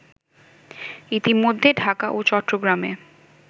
ইতোমধ্যে ঢাকা ও চট্টগ্রামে